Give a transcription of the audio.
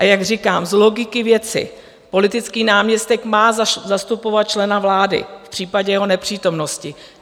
A jak říkám, z logiky věci politický náměstek má zastupovat člena vlády v případě jeho nepřítomnosti.